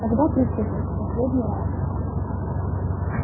тогда приступим в последний раз